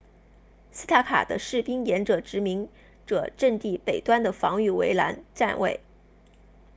斯塔克 stark 的士兵沿着殖民者阵地北端的防御围栏站位